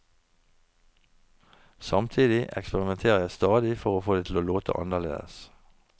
Samtidig eksperimenterer jeg stadig for å få det til å låte annerledes.